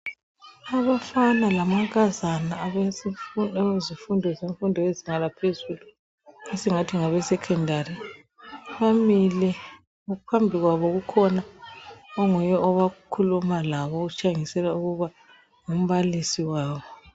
Abafana lamankazana abemfundo yezinga laphezulu esingathi ngabe secondary bamile phambi kwabo kukhona onguye okhuluma labo okutshengisela ukuba ngumbalisi wabo.